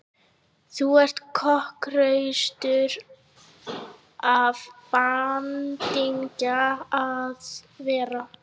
Þú ert kokhraustur af bandingja að vera.